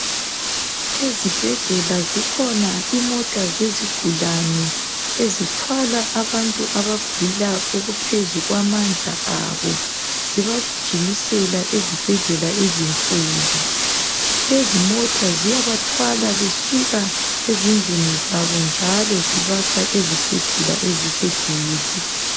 ezibedlela zikhona izimota zezigulane ezithwala abantu abagulayo okuphezulu kwamandla abo zibagijimisela ezibhedlela ezinkulu lezimota ziyabathwala besuka ezindlini zabo njalo zibasa ezibhedlela eziseduze